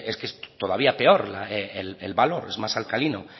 que es todavía peor el valor es más alcalino